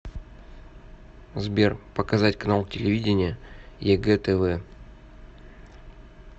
сбер показать канал телевидения егэ тв